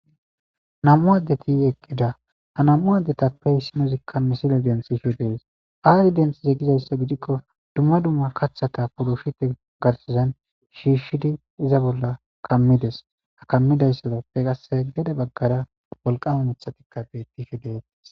Nam7u addeti eqqida ha nam7u addetappe issinozikka misile densi sho dees aayi densize gizayssa gidikko dumma dumma kaththata purushite garsazan shiishshidi iza bolla kammides ha kammidayssadappe qasse gede baggara wolqame mithatikka bettishe dese.